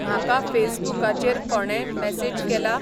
म्हाका फेसबुकाचेर कोणेंय मेसेज केला ?